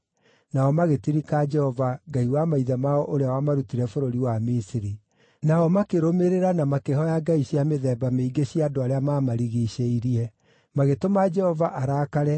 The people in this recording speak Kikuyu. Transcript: Nao magĩtirika Jehova, Ngai wa maithe mao ũrĩa wamarutĩte bũrũri wa Misiri. Nao makĩrũmĩrĩra na makĩhooya ngai cia mĩthemba mĩingĩ cia andũ arĩa maamarigiicĩirie, magĩtũma Jehova arakare